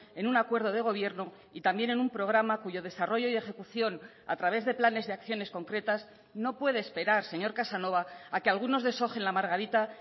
en un acuerdo de gobierno y también en un programa cuyo desarrollo y ejecución a través de planes de acciones concretas no puede esperar señor casanova a que algunos desojen la margarita